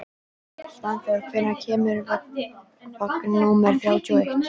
Svanþór, hvenær kemur vagn númer þrjátíu og eitt?